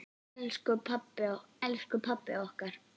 Elsku pabbi okkar.